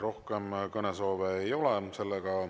Rohkem kõnesoove ei ole.